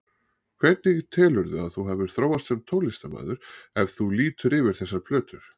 Hvernig telurðu að þú hafir þróast sem tónlistarmaður, ef þú lítur yfir þessar plötur?